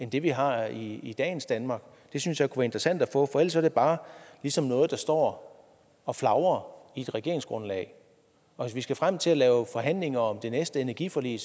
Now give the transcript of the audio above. det vi har i i dagens danmark det synes jeg kunne være interessant at få for ellers er det bare ligesom noget der står og flagrer i regeringsgrundlaget og hvis vi skal frem til at lave forhandlinger om det næste energiforlig